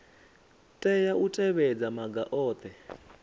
tea u tevhedza maga ohe